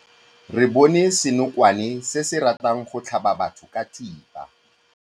Re bone senokwane se se ratang go tlhaba batho ka thipa.